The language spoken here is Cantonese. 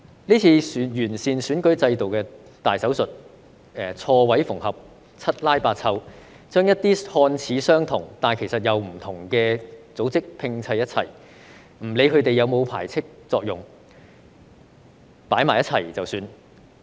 這次完善選舉制度的"大手術"，錯位縫合，七拉八湊，將一些看似相同，但其實並不相同的組織拼湊一起，不理他們是否有排斥作用，放在一起便算。